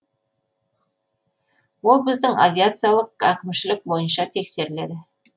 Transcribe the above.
ол біздің авиациялық әкімшілік бойынша тексеріледі